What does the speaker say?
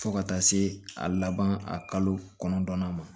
Fo ka taa se a laban a kalo kɔnɔntɔnnan ma